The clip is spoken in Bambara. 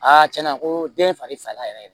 tiɲɛna ko den ye fari faga yɛrɛ ye